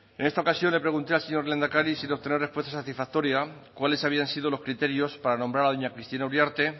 en esta ocasión le pregunté al señor lehendakari sin obtener respuesta satisfactoria cuáles habían sido los criterios para nombrar a doña cristina uriarte